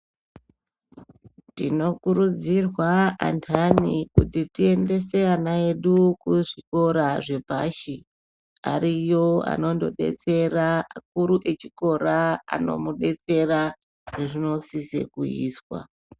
Tinokurudzirwa andani kuti tiendese ana edu kuzvikora zvepashi ariyo ano ndodetsera vakuru vechikora anondo mudetsera zvazvino siso kuizwa.